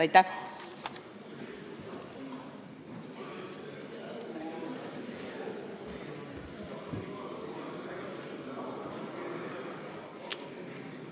Aitäh!